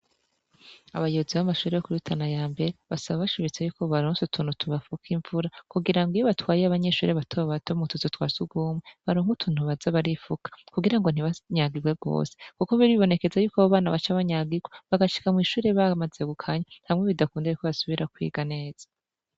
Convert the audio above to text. Abayuzi b'amashure yo kirutana ya mbere basaba bashibitse yuko baronse utuntu tubafuka imvura kugira ngo iyo batwaye y'abanyeshure batoba batao mu tuzi twa sugumwe baronka utuntu baza barifuka kugira ngo ntibanyagirwe rwose, kuko biribonekeza yuko abo bana baca banyagirwe bagashika mw'ishure bahamazegukanya ntamwe bidakundeyayuko basubira kwiga neza.